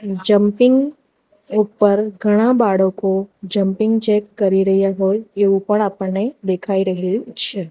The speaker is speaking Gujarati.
જમ્પિંગ ઉપર ઘણા બાળકો જમ્પિંગ જેક કરી રહ્યા હોય એવુ પણ આપણને દેખાઇ રહ્યુ છે.